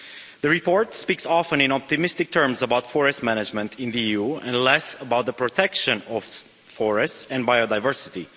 The report speaks often in optimistic terms about forest management in the EU and less about the protection of forests and biodiversity.